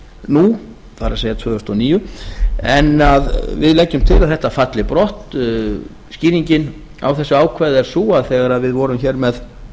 nú það er tvö þúsund og níu en við leggjum til að þetta falli brott skýringin á þessu ákvæði er sú að þegar við vorum hér með